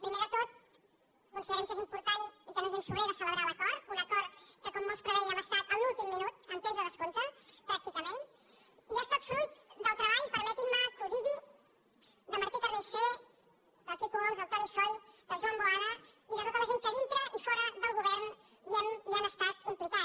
primer de tot considerem que és important i que no és gens sobrer de celebrar l’acord un acord que com molts prevèiem ha estat en l’últim minut en temps de descompte pràcticament i ha estat fruit del treball permetin me que ho digui de martí carnicer del quico homs del toni soy del joan boada i de tota la gent que dintre i fora del govern hi ha estat implicada